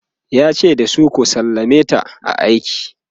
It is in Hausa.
yace da su"ku sallameta a aiki!"